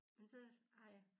Men så har jeg